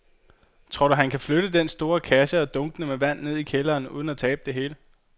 Tror du, at han kan flytte den store kasse og dunkene med vand ned i kælderen uden at tabe det hele?